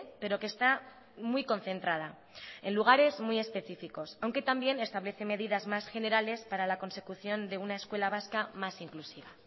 pero que está muy concentrada en lugares muy específicos aunque también establece medidas más generales para la consecución de una escuela vasca más inclusiva